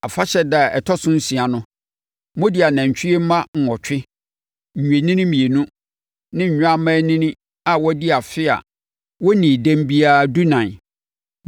“ ‘Afahyɛ ɛda a ɛtɔ so nsia no, mode anantwie mma nwɔtwe, nnwennini mmienu ne nnwammaanini a wɔadi afe a wɔnnii dɛm biara dunan